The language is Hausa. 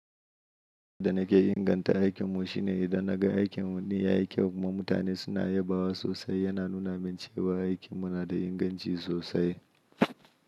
Yanda nake inganta aikinmu shine idan naga aikinmu ɗin yayi kyau kuma mutane suna yabawa sosai, yana nuna min cewa aikinmu na da inganci sosai.